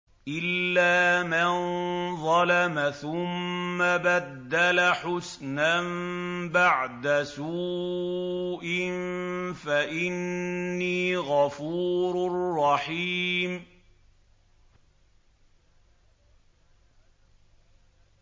إِلَّا مَن ظَلَمَ ثُمَّ بَدَّلَ حُسْنًا بَعْدَ سُوءٍ فَإِنِّي غَفُورٌ رَّحِيمٌ